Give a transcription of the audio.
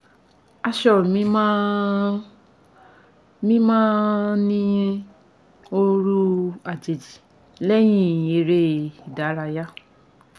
aṣọ mi máa ń mi máa ń ní òórùn àjèjì lẹ́yìn eré ìdárayá